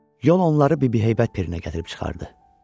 Yol onları Bibi Heybət pirinə gətirib çıxardı.